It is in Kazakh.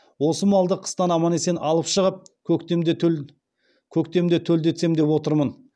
осы малды қыстан аман есен алып шығып көктемде төлдетсем деп отырмын